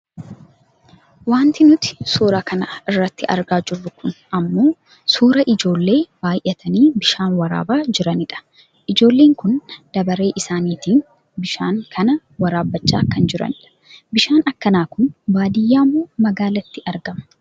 Wanti nuti suuraa kana irratti argaa jirru kun ammoo suuraa ijoollee baayyatanii bishaan waraabaa jiranii dha. Ijoolleen kun darabee isaaniitiin bishaan kana waraabbachaa kan jiranidha. Bishaan akkana kun baadiyyaamoo magaalaatti argama?